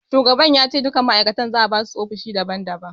Shugaban ya ce duka ma'aikatan za'a basu ofishi daban daban.